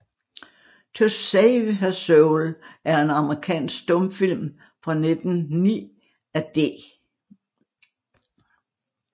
To Save Her Soul er en amerikansk stumfilm fra 1909 af D